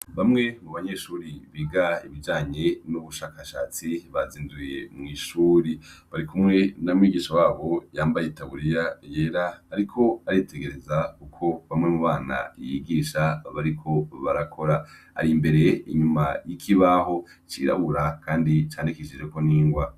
Bamwe mu banyeshuri biga ibijanye n'ubushakashatsi bazinduye mw'ishuri bari kumwe namwigisha wabo yambaye itaburiya yera, ariko aritegereza uko bamwe mu bana yigisha abariko barakora ari imbere inyuma y'ikibaho cirabura, kandi candikishijeko n'ingwa.